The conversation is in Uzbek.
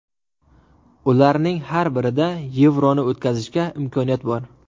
Ularning har birida Yevroni o‘tkazishga imkoniyat bor”.